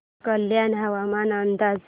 कल्याण हवामान अंदाज